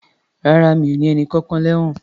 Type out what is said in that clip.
Rárá, mi o ní ẹnìkankan lẹ́wọ̀n.